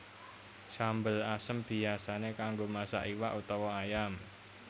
Sambel asem biyasané kanggo masak iwak utawa ayam